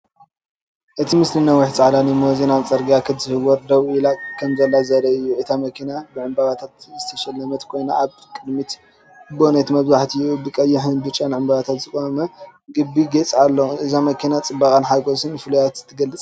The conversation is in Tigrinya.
እቲ ምስሊ ነዊሕ ጻዕዳ ሊሞዚን ኣብ ጽርግያ ክትዝውር ወይ ደው ኢላ ከምዘላ ዘርኢ እዩ። እታ መኪና ብዕምባባታት ዝተሰለመት ኮይና ኣብ ቅድሚት (ቦኔት) መብዛሕትኡ ብቐይሕን ብጫን ዕምባባታት ዝቖመ ዓቢ ጌጽ ኣሎ። እዛ መኪና ጽባቐን ሓጎስን ፍሉይነትን ትገልጽ።